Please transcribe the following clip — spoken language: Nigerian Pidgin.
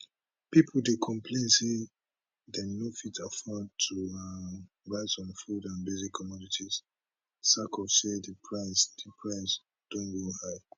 pipo dey complain say dem no fit afford to um buy some food and basic commodities sak of say di price di price don go high